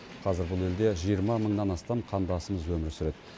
қазір бұл елде жиырма мыңнан астам қандасымыз өмір сүреді